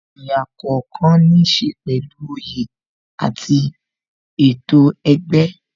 Ẹ̀yà kookan ní ṣe pẹ̀lú oyè àti ètò ẹgbẹ́